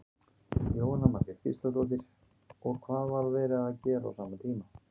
Jóhanna Margrét Gísladóttir: Og hvað var verið að gera á sama tíma?